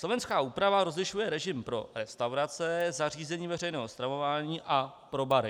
Slovenská úprava rozlišuje režim pro restaurace, zařízení veřejného stravování a pro bary.